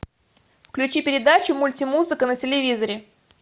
включи передачу мультимузыка на телевизоре